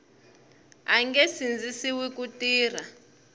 a nge sindzisiwi ku tirha